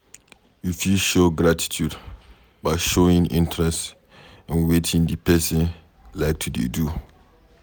You fit show gratitude by showing interest in wetin di person like to dey do